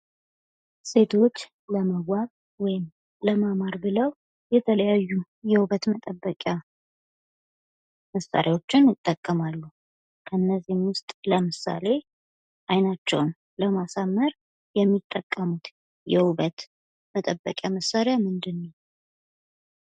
ሴቶች ለመዋብ ወይም ለማማር ብለው የተለያዩ የውበት መጠበቂያ መሣሪያዎችን ይጠቀማሉ። ከእነዚህም ውስጥ ለምሳሌ ዓይናቸውን ለማሳመር የሚጠቀሙት የውበት መጠበቂያ መሳሪያ ምንድን ነው?